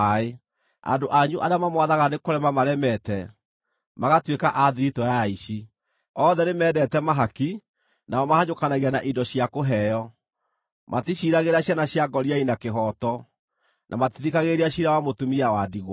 Andũ anyu arĩa mamwathaga nĩ kũrema maremete, magatuĩka a thiritũ ya aici; othe nĩmendete mahaki, nao mahanyũkanagia na indo cia kũheo. Maticiiragĩra ciana cia ngoriai na kĩhooto; na matithikagĩrĩria ciira wa mũtumia wa ndigwa.